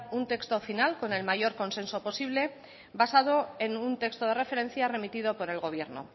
un texto final con el mayor consenso posible basado en un texto de referencia remitido por el gobierno